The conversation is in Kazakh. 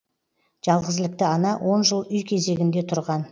жалғызілікті ана он жыл үй кезегінде тұрған